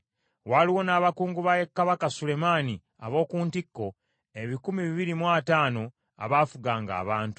Waaliwo n’abakungu ba kabaka Sulemaani ab’oku ntikko, ebikumi bibiri mu ataano, abaafuganga abantu.